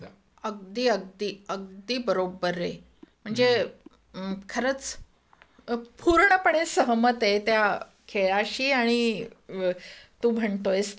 अगदी अगदी, अगदी बरोबर रे. म्हणजे खरंच पूर्णपणे सहमत आहे त्या खेळाशी आणि तू म्हणतोयस त्याच्याशी.